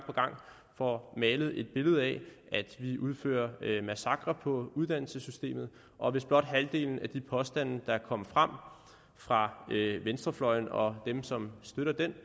får malet et billede af at vi udfører massakrer på uddannelsessystemet og hvis blot halvdelen af de påstande der er kommet frem fra venstrefløjen og dem som støtter den